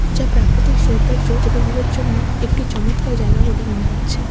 যা প্রাকৃতিক সৌন্দর্য উপভোগের জন্য একটি চমৎকার জায়গা বলে মনে হচ্ছে।